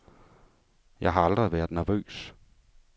Jeg har aldrig været nervøs.